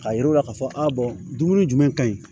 K'a yir'u la k'a fɔ a dumuni jumɛn ka ɲi